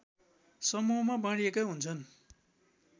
समूहमा बाँडिएका हुन्छन्